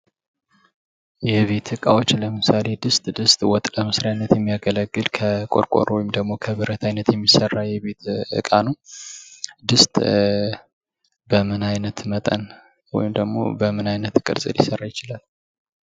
የቤት ዕቃዎች ለምሳሌ ድስት ድስት ወጥ ለመስሪያነት የሚያገለግል ከቆርቆሮ ወይም ደግሞ ከብረት አይነት የሚሰራ እቃ ነው ።ድስት ገመና ዓይነት መጠን ወይም ደግሞ በምን አይነት ቅርጽ ሊሰራ ይችላል።